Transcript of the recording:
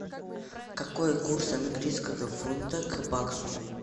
какой курс английского фунта к баксу